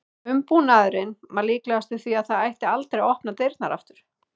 Umbúnaðurinn var líkastur því að það ætti aldrei að opna dyrnar aftur.